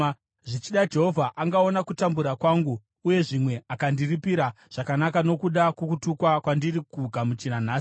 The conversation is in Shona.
Zvichida Jehovha angaona kutambura kwangu uye zvimwe angandiripira zvakanaka nokuda kwokutukwa kwandiri kugamuchira nhasi.”